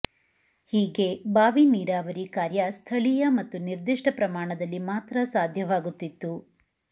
ಹೀಗೆ ಬಾವಿ ನೀರಾವರಿ ಕಾರ್ಯ ಸ್ಥಳೀಯ ಮತ್ತು ನಿರ್ದಿಷ್ಟ ಪ್ರಮಾಣದಲ್ಲಿ ಮಾತ್ರ ಸಾಧ್ಯವಾಗುತ್ತಿತ್ತು